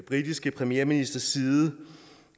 britiske premierministers side